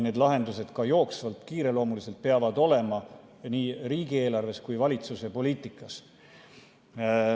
Need lahendused, ka jooksvalt, kiireloomuliselt, peavad olema nii riigieelarves kui ka valitsuse poliitikas.